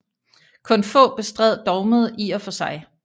Kun få bestred dogmet i og for sig